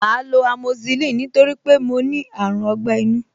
Màá lo amoxicillin nítorí mo ní àrùn ọgbẹ́-inú